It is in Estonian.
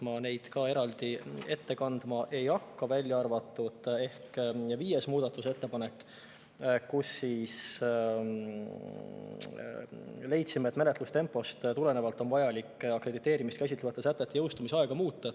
Ma neid ka eraldi ette kandma ei hakka, välja arvatud ehk viies muudatusettepanek, mille puhul me leidsime, et menetlustempost tulenevalt on vajalik akrediteerimist käsitlevate sätete jõustumise aega muuta.